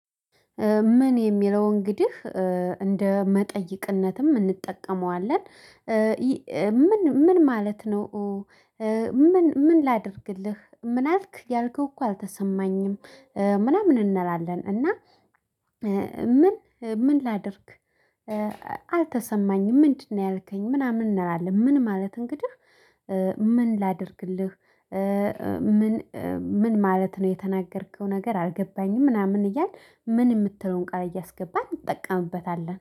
ምን የሚለው እንግዲህ እንደ መጠይቅነትም እንጠቀመዋለን። "ምን ምን ማለት ነው?" "ምን ምን ላድርግልህ?" "ምን አልክ? ያልከው እኮ አልተሰማኝም።" ምናምን እንላለን፤ እና ምን ምንላድርግ "አልተሰማኝም፤ ምንድነው ያልከኝ?" ምናምን እንላለን። ምን ማለት እንግዲህ፣ "ምን ላድርግልህ?" "ምን ምን ማለት ነው? የተናገርከው ነገር አልገባኝም።" ምናምን እያልን "ምን" የምትለውን ቃል እያስገባን እንጠቀምበታለን።